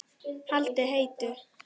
Haldið heitu.